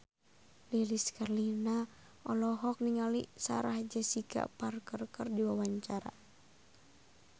Lilis Karlina olohok ningali Sarah Jessica Parker keur diwawancara